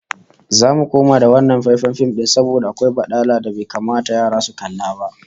Zamu koma da wannan faifan fim din saboda akwai badala da bai kamata yara su kalla ba